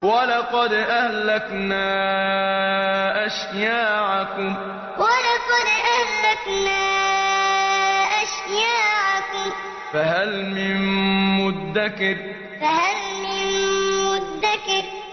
وَلَقَدْ أَهْلَكْنَا أَشْيَاعَكُمْ فَهَلْ مِن مُّدَّكِرٍ وَلَقَدْ أَهْلَكْنَا أَشْيَاعَكُمْ فَهَلْ مِن مُّدَّكِرٍ